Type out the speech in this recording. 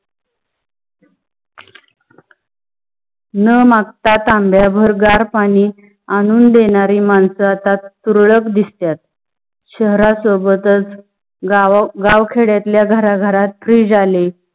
ना मागता तांब्या भर गार पाणी आनून देनारी मानस आता तुरळक दिसतात. शहरात सोबतच गाव खेड्यातल्या घरा घरात fridge आली.